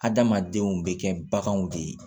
Adamadenw bɛ kɛ baganw de ye